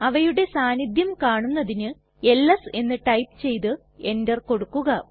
അവയുടെ സാന്നിധ്യം കാണുന്നതിനു എൽഎസ് എന്ന് ടൈപ്പ് ചെയ്ത് എന്റർ കൊടുക്കുക